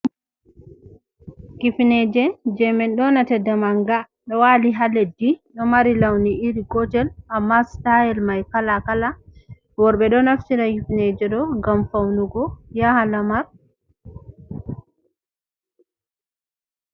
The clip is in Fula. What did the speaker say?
Hifneje je min ɗonata da manga ɗo wali ha leddi, ɗo mari lawni iri gotel, amma stayel mai kala kala, worɓɓe ɗo naftira hifneje ɗo ngam faunugo yaha lamar.